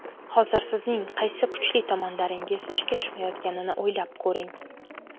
Hozir sizning qaysi kuchli tomonlaringiz ishga tushmayotganini o‘ylab ko‘ring.